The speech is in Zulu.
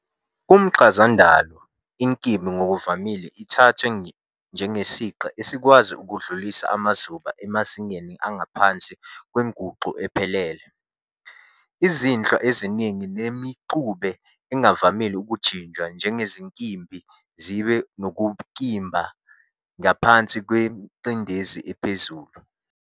Kumchazandalo, inkimbi ngokuvamile ithathwa njengesiqa esikwazi ukudlulisa amazuba emazingeni angaphansi kwenguqu ephelele. Izinhlwa eziningi nemixube engavamile ukujinjwa njengezinkimbi zibe nobunkimbi ngaphansi kwengcindezi ephezulu.